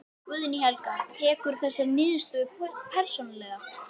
Guðný Helga: Tekurðu þessa niðurstöðu persónulega?